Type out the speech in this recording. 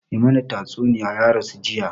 Mai mana tastunniya ya rasu jiya